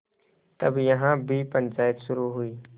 तब यहाँ भी पंचायत शुरू हुई